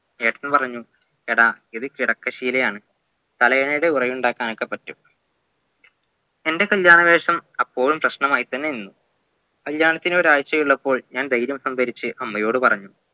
ഏട്ടൻ പറഞ്ഞു എടാ ഇത് കിടക്കഷീലയാണ് തലയണയുടെ ഉരയുണ്ടാക്കാനൊക്കെ പറ്റും എന്റെ കല്യാണവേഷം അപ്പോളും പ്രശ്ണമായി തന്നെ നിന്നു കല്യാണത്തിനൊരാഴ്ച്ചയുള്ളപ്പോൾ ഞാൻ ധൈര്യം സംഭരിച്ച് അമ്മയോട് പറഞ്ഞു